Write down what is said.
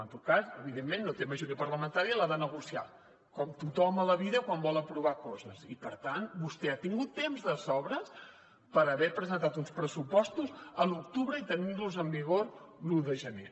en tot cas evidentment no té majoria parlamentària i l’ha de negociar com tothom a la vida quan vol aprovar coses i per tant vostè ha tingut temps de sobres per haver presentat uns pressupostos a l’octubre i tenir los en vigor l’un de gener